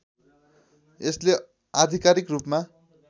यसले आधिकारिक रूपमा